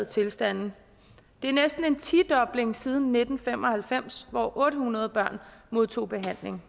tilstande det er næsten en tidobling siden nitten fem og halvfems hvor otte hundrede børn modtog behandling